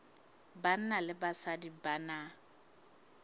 banna le basadi ba na